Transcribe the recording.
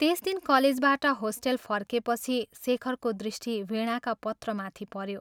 त्यस दिन कलेजबाट होस्टेल फर्केपछि शेखरको दृष्टि वीणाका पत्रमाथि पऱ्यो ।